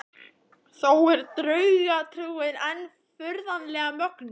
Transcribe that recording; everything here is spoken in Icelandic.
Þó er draugatrúin enn furðanlega mögnuð.